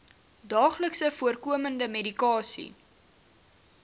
daagliks voorkomende medikasie